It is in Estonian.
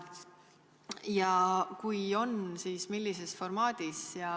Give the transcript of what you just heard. Ja kui on plaanis kaasata, siis millises formaadis?